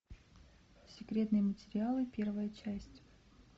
секретные материалы первая часть